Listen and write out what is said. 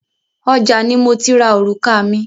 Ọjà ni mo ti ra orùka mi.